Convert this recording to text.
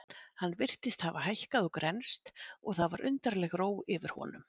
Hann virtist hafa hækkað og grennst og það var undarleg ró yfir honum.